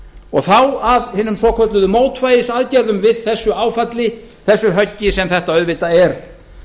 og þá að hinum svokölluðu mótvægisaðgerðum við þessu áfalli þessu höggi sem þetta auðvitað er